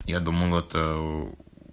я думал это